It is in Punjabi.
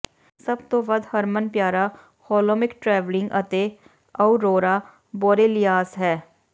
ਸਭ ਤੋਂ ਵੱਧ ਹਰਮਨਪਿਆਰਾ ਹੋਲੋਮਿਕ ਟ੍ਰੈਵਲਿੰਗ ਅਤੇ ਅਉਰੋਰਾ ਬੋਰੇਲੀਆਸ ਹੈ